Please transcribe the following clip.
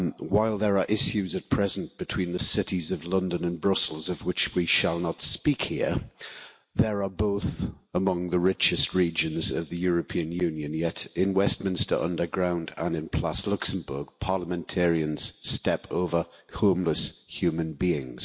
While there are issues at present between the cities of London and Brussels of which we shall not speak here, they are both among the richest regions of the European Union, yet in Westminster Underground and in Place du Luxembourg, parliamentarians step over homeless human beings.